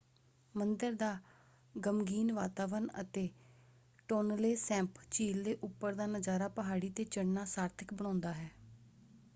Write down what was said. ਮੰਦਰ ਦਾ ਗ਼ਮਗੀਨ ਵਾਤਾਵਰਨ ਅਤੇ ਟੋਨਲੇ ਸੈਪ ਝੀਲ ਦੇ ਉੱਪਰ ਦਾ ਨਜ਼ਾਰਾ ਪਹਾੜੀ 'ਤੇ ਚੜ੍ਹਨਾ ਸਾਰਥਕ ਬਣਾਉਂਦਾ ਹੈ।